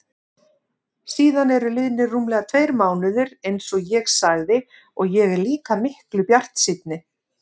Síðan eru liðnir rúmlega tveir mánuðir einsog ég sagði og ég er líka miklu bjartsýnni.